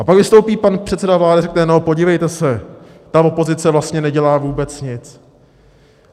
A pak vystoupí pan předseda vlády a řekne: No podívejte se, ta opozice vlastně nedělá vůbec nic.